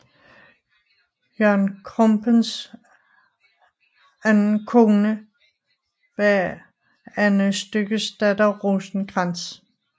Jørgen Krumpens anden kone var Anne Styggesdatter Rosenkrantz